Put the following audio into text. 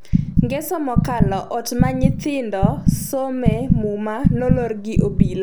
ngeso mokalo ot ma nyithindo some Muma nolor gi obila